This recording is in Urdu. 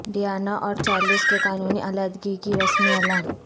ڈیانا اور چارلس کے قانونی علیحدگی کی رسمی اعلان